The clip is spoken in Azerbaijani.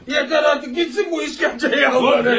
Yetər artıq, getsin bu işkəncə ya.